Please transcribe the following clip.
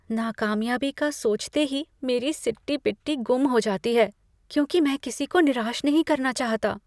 नाकामयाबी का सोचते ही मेरी सिट्टी पिट्टी गुम हो जाती है क्योंकि मैं किसी को निराश नहीं करना चाहता।